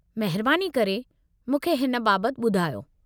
महिरबानी करे मूंखे हिन बाबति ॿुधायो।